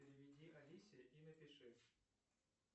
переведи алисе и напиши